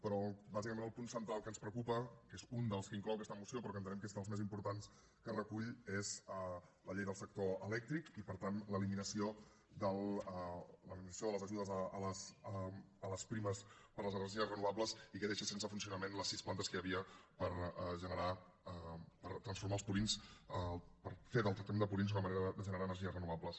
però bàsicament el punt central que ens preocupa que és un dels que inclou aquesta moció però que entenem que és dels més importants que recull és la llei del sector elèctric i per tant l’eliminació de les ajudes a les primes per les energies renovables i que deixa sense funcionament les sis plantes que hi havia per transformar els purins per fer del tractament de purins una manera de generar energies renovables